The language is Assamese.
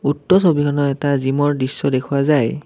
উক্ত ছবিখনত এটা জিমৰ দৃশ্য দেখুওৱা যায়।